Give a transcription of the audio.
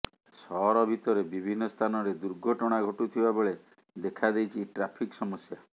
ସହର ଭିତରେ ବିଭିନ୍ନ ସ୍ଥାନରେ ଦୁର୍ଘଟଣା ଘଟୁଥିବା ବେଳେ ଦେଖା ଦେଇଛି ଟ୍ରାଫିକ ସମସ୍ୟା